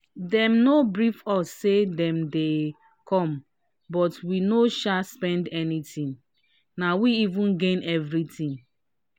dem no brief us say dem dey come but we no sha spend anything na we even gain everything.